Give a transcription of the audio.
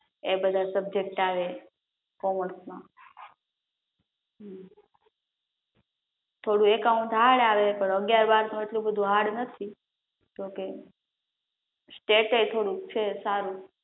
એ બધા સબ્જેક્ટ આવે કોમર્સ માં, થોડું એકાઉન્ટ હાર્ડ આવે પણ અગ્યાર બાદમાં એટલું હાર્ડ નથી, સ્ટેટ એ થોડુંક છે સારું